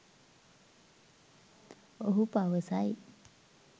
ඔහු පවසයි